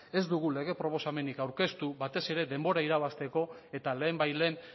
ez dugu proposamenik aurkeztu batez ere denbora irabazteko eta lehenbailehen